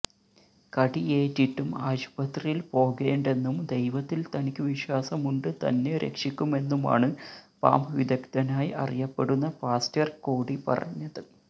കടിയേറ്റിട്ടും ആശുപത്രിയില് പോകേണ്ടെന്നും ദൈവത്തില് തനിക്ക് വിശ്വാസമുണ്ട് തന്നെ രക്ഷിക്കുമെന്നുമാണ് പാമ്പ് വിദഗ്ധനായി അറിയപ്പെടുന്ന പാസ്റ്റര് കോഡി പറഞ്ഞത്